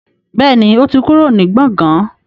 Bẹ́ẹ̀ni, ó ti kúrò ní gbọ̀gán